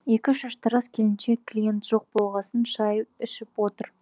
екі шаштараз келіншек клиент жоқ болғасын шай ішіп отыр